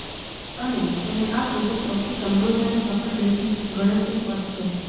અને તેને આ સૂચક સૌથી સમૃદ્ધ અને સફળ દેશ ગણતરી પર છે